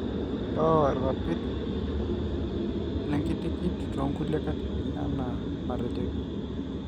keoro irpapit le nkitikit toonkulie katitin anaa anatejoki